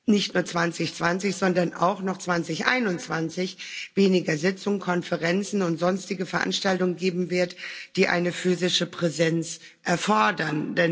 nicht nur 2020, sondern auch noch 2021 weniger Sitzungen, Konferenzen und sonstige Veranstaltungen geben wird, die eine physische Präsenz erfordern.